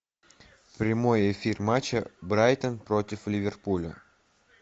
прямой эфир матча брайтон против ливерпуля